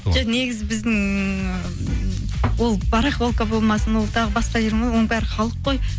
жоқ негізі біздің ы ол барахолка болмасын ол тағы бас жер ме оның бәрі халық қой